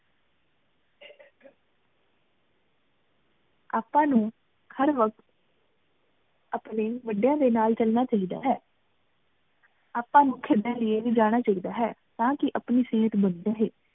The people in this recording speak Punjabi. ਆਪਾਂ ਨੂੰ ਹਰ ਵਕ਼ਤ ਆਪਣੇ ਵੱਡੀਆਂ ਦੇ ਨਾਲ ਚਲਨਾ ਚਾਹੀਦਾ ਹੈ ਆਪਾਂ ਨੂੰ ਖੇਡਣ ਲਈ ਵੀ ਜਾਣਾ ਚਾਹੀਦਾ ਹੈ ਤਾਕੀ ਆਪਣੀ ਸੇਹਤ ਬਣੀ ਰਹੇ